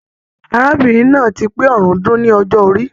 Arábìnrin náà ti pé ọ̀rúndún ní ọjọ orí.